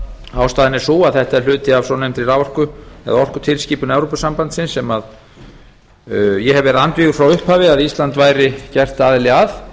ástæðan er sú að þetta er hluti af svonefndri orkutilskipun evrópusambandsins sem ég hef verið andvígur frá upphafi að ísland gerðist aðili að